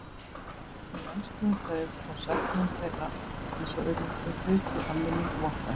Við elskuðum þau og söknuðum þeirra en svo urðu þau hluti af minningum okkar.